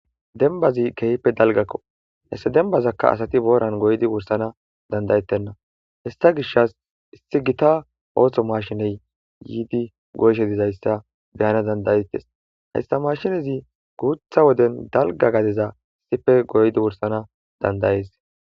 Denbazi kehppe dalgakko hesse dembazakka asati booran goydi wursana dandayettenna hissa gishas issi gita ooththo mashiney yiidi goyshe dizayssa beyana dandayettes hayssa mashinezi guutha woden dalga gadeza sife goydi wursana dandayees.